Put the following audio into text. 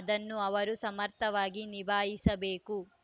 ಅದನ್ನು ಅವರು ಸಮರ್ಥವಾಗಿ ನಿಭಾಯಿಸಬೇಕು